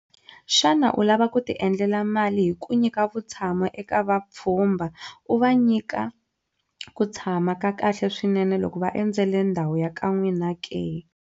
Xana u lava ku tiendlela mali hi ku nyika vutshamo eka vapfhumba, u va nyika ku tshama ka kahle swinene loko va endzele ndhawu ya ka n'wina ke?